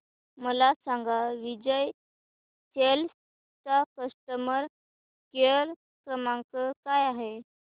मला सांगा विजय सेल्स चा कस्टमर केअर क्रमांक काय आहे